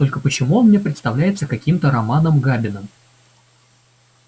только почему он мне представляется каким-то романом габиным